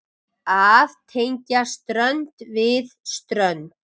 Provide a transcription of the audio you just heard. Að tengja strönd við strönd.